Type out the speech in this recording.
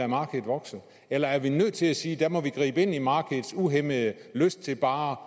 markedet vokse eller er vi nødt til at sige at der må vi gribe ind i markedets uhæmmede lyst til bare